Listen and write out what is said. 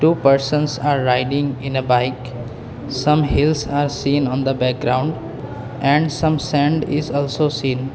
two persons are riding in a bike some hills are seen on the background and some sand is also seen.